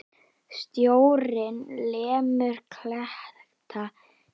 Sjórinn lemur kletta hér.